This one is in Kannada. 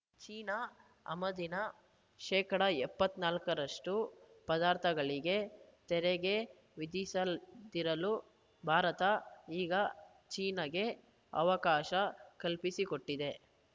ಚೀನಾ ಆಮದಿನ ಶೇಕಡಾ ಎಪ್ಪತ್ತ್ ನಾಲ್ಕರಷ್ಟು ಪದಾರ್ಥಗಳಿಗೆ ತೆರಿಗೆ ವಿಧಿಸದಿಸಲ್ ಭಾರತ ಈಗ ಚೀನಾಗೆ ಅವಕಾಶ ಕಲ್ಪಿಸಿಕೊಟ್ಟಿದೆ